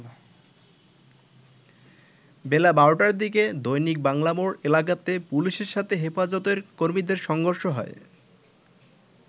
বেলা ১২টার দিকে দৈনিক বাংলা মোড় এলাকাতে পুলিশের সাথে হেফাজতের কর্মীদের সংঘর্ষ হয়।